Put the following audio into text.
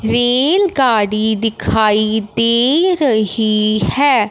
Rail गाड़ी दिखाई दे रही हैं।